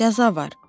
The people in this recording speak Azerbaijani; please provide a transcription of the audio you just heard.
Cəza var!